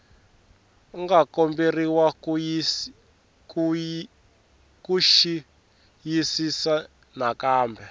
nga komberiwa ku xiyisisisa nakambe